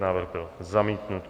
Návrh byl zamítnut.